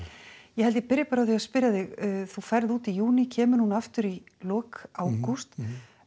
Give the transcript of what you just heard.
ég held ég byrji bara á því að spyrja þig þú ferð út í júní kemur heim aftur í lok ágúst